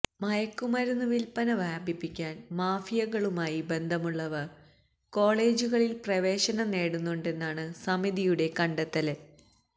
മയക്കുമരുന്ന് വില്പ്പന വ്യാപിപ്പിക്കാന് മാഫിയകളുമായി ബന്ധമുള്ളവര് കോളജുകളില് പ്രവേശനം നേടുന്നുണ്ടെന്നാണ് സമിതിയുടെ കണ്ടെത്തല്